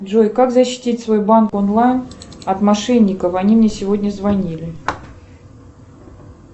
джой как защитить свой банк онлайн от мошенников они мне сегодня звонили